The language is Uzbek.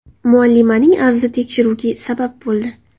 Muallimaning arzi tekshiruvga sabab bo‘ldi.